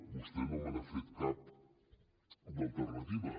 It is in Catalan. vostè no me n’ha fet cap d’alternativa